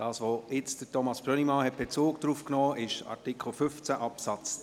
Das, worauf Thomas Brönnimann soeben Bezug genommen hat betreffend Hygieneartikel, ist Artikel 15 Absatz